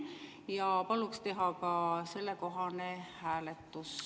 Ja palun teha ka sellekohane hääletus.